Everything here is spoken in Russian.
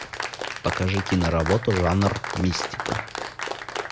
покажи киноработу жанр мистика